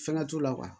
Fɛn t'u la